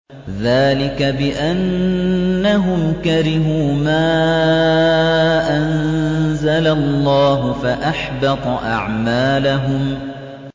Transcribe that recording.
ذَٰلِكَ بِأَنَّهُمْ كَرِهُوا مَا أَنزَلَ اللَّهُ فَأَحْبَطَ أَعْمَالَهُمْ